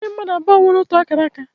E nweghị mmadụ abụọ nwere ótù akara aka.